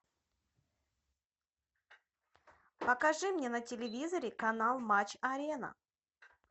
покажи мне на телевизоре канал матч арена